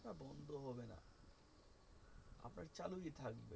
চালুই থাকবে।